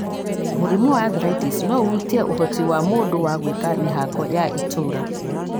Mũrimũ wa arthritis no ũhutie ũhoti wa mũndũ wa gwĩka mĩhango ya itũũra